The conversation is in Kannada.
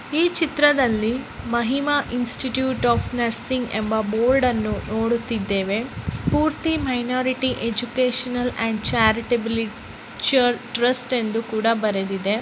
ಈ ಚಿತ್ರದಲ್ಲಿ ಮಹಿಮಾ ಇನ್ಸ್ಟಿಟ್ಯೂಷನ್ ಆಫ್ ನರ್ಸಿಂಗ್ ಎಂಬ ಬೋರ್ಡ್ನ್ನು ನೋಡುತ್ತಿದ್ದೇವೆ Spoorthi minority educational charitable trust ಎಂದು ಕೂಡ ಬರೆದಿದೆ .